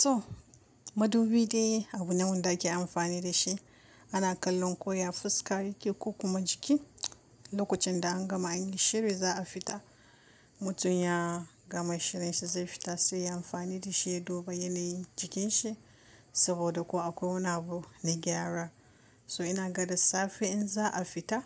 Toh madubi dai abu nawanda ke amfani da shi ana kallon ko ya fuska yake ko kuma jiki, lokacin da an gama anyi shiri za a fita mutum ya gama shirinsa zai fita sai ya amfani da shi ya duba yanayin jikinsa saboda ko akwai wani abu na gyara. So ina ga da safe in za a fita